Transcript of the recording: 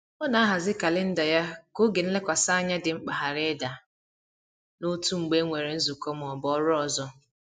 Ọ na-ahazi kalenda ya ka oge nlekwasị anya dị mkpa ghara ịda n’otu mgbe e nwere nzukọ ma ọ bụ ọrụ ọzọ.